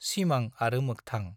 सिमां आरो मोखथां